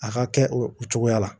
A ka kɛ o cogoya la